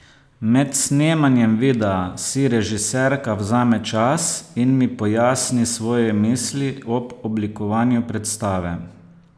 Med snemanjem videa si režiserka vzame čas in mi pojasni svoje misli ob oblikovanju predstave.